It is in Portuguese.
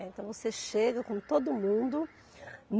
É, então, você chega com todo mundo.